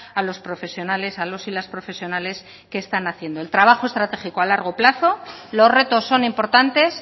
a los profesionales a los y las profesionales que están haciendo el trabajo estratégico a largo plazo los retos son importantes